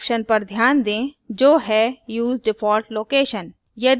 एक option पर ध्यान दें जो है use default location